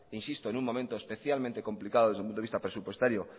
insisto en un momento especialmente complicado desde el punto de vista presupuestario